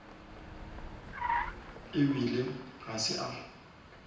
e bile ga se a